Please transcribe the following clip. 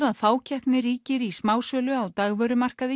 að fákeppni ríkir í smásölu á dagvörumarkaði